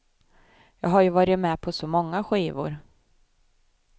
Jag har ju varit med på så många skivor.